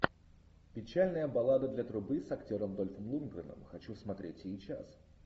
печальная баллада для трубы с актером дольфом лундгреном хочу смотреть сейчас